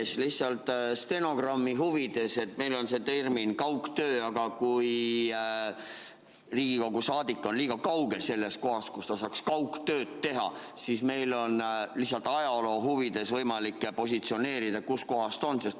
Ütlen lihtsalt stenogrammi huvides, et meil on termin "kaugtöö", aga kui Riigikogu liige on liiga kaugel sellest kohast, kus ta saaks kaugtööd teha, siis siis peaks meil lihtsalt ajaloo huvides olema võimalik positsioneerida, kus kohas ta on.